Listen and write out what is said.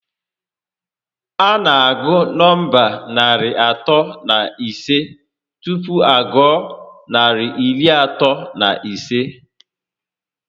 A na agụ nọmba narị atọ na ise tupu a gụọ narị iri atọ na isii